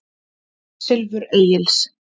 Silfur Egils.